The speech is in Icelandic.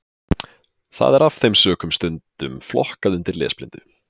Það er af þeim sökum stundum flokkað undir lesblindu.